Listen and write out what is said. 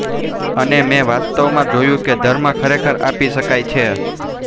અને મેં વાસ્તવમાં જોયું કે ધર્મ ખરેખર આપી શકાય છે